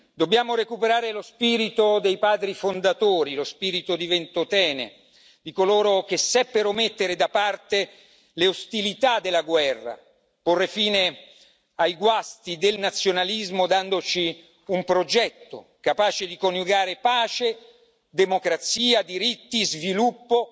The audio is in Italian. Dobbiamo recuperare lo spirito dei padri fondatori, lo spirito di Ventotene, di coloro che seppero mettere da parte le ostilità della guerra e porre fine ai guasti del nazionalismo, dandoci un progetto capace di coniugare pace, democrazia, diritti, sviluppo